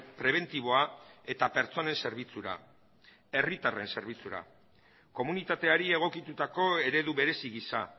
prebentiboa eta pertsonen zerbitzura herritarren zerbitzura komunitateari egokitutako eredu berezi gisa